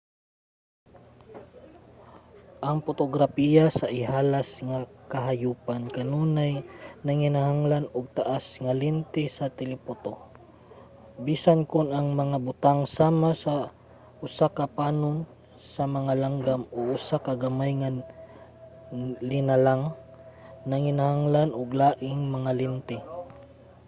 ang potograpiya sa ihalas nga kahayopan kanunay nanginahanglan og taas nga lente sa telephoto bisan kon ang mga butang sama sa usa ka panon sa mga langgam o usa ka gamay nga linalang nanginahanglan og laing mga lente